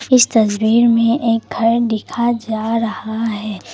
इस तस्वीर में एक घर दिखा जा रहा है।